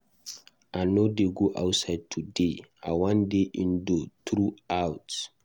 I no dey go outside today, I wan dey indoor through out.